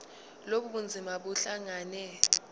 lobu bunzima buhlangane